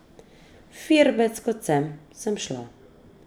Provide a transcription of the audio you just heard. Firbec, kot sem, sem šla.